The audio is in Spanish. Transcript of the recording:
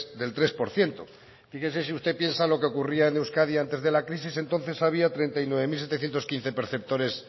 del tres por ciento fíjese si usted piensa lo que ocurría en euskadi antes de la crisis entonces había treinta y nueve mil setecientos quince perceptores